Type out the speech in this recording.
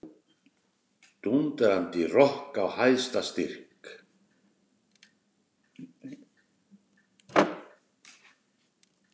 Dúndrandi rokk á hæsta styrk.